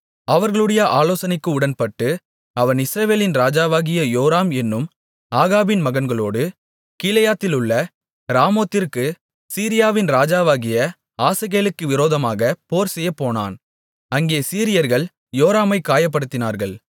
அவர்களுடைய ஆலோசனைக்கு உடன்பட்டு அவன் இஸ்ரவேலின் ராஜாவாகிய யோராம் என்னும் ஆகாபின் மகன்களோடு கீலேயாத்திலுள்ள ராமோத்திற்குச் சீரியாவின் ராஜாவாகிய ஆசகேலுக்கு விரோதமாக போர்செய்யப்போனான் அங்கே சீரியர்கள் யோராமைக் காயப்படுத்தினார்கள்